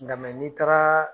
Nga n'i taara